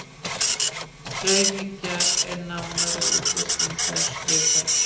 raunhyggjan er nánari útlistun þessa viðhorfs